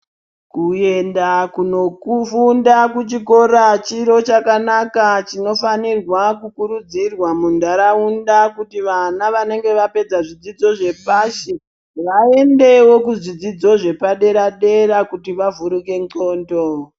Kuyenda kunofunda kuchikora chiro chakanaka chinofanirwa kukurudzirwa munharaunda kuti vana vanenge vapedza zvidzidzo zvepashi vaendewo kuzvidzidzo zvepadera dera kuti vavhurike ndxondo.